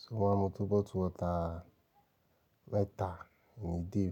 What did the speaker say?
So mo máa ń mu tó bottled water mẹ́ta ìnídí.